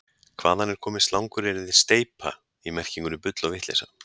hvaðan er komið slanguryrðið „steypa í merkingunni bull eða vitleysa